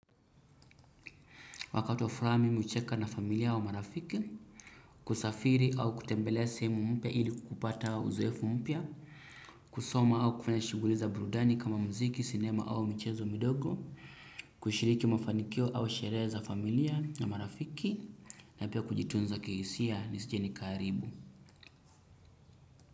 Wakati wa furaha mimi hucheka na familia au marafiki, kusafiri au kutembelea sehemu mpya ili kupata uzoefu mpya, kusoma au kufanya shughuli za burudani kama muziki, sinema au michezo midogo, kushiriki mafanikio au sherehe za familia na marafiki na pia kujitunza kihisia nisije nikaharibu.